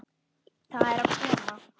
Það er að koma!